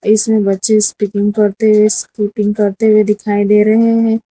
इसमें बच्चे स्पीकिंग करते हुए स्पीकिंग करते हुए दिखाई दे रहे हैं।